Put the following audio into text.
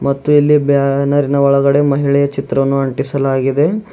ಮತ್ತು ಇಲ್ಲಿ ಬ್ಯಾನರಿನ ಒಳಗಡೆ ಮಹಿಳೆಯ ಚಿತ್ರವನ್ನು ಅಂಟಿಸಲಾಗಿದೆ.